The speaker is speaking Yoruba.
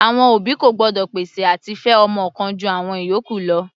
Àwọn òbí kò gbọ́dọ̀ pèsè àti fẹ ọmọ kan ju àwọn ìyókù lọ.